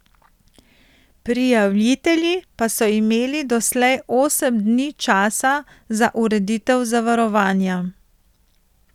Prijavitelji pa so imeli doslej osem dni časa za ureditev zavarovanja.